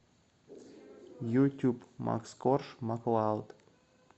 ютуб макс корж маклауд